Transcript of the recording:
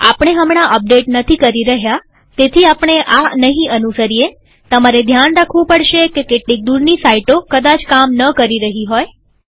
આપણે હમણાં અપડેટ નથી કરી રહ્યા તેથી આપણે આ નહીં અનુસરીએતમારે ધ્યાન રાખવું પડશે કે કેટલીક દૂરની સાઈટો કદાચ કામ ન કરી રહી હોય